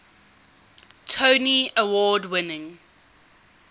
tony award winning